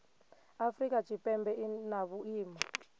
afrika tshipembe i na vhuimo